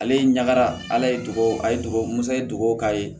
Ale ye ɲagara ala ye dugawu k'a ye musa ye dogo k'a ye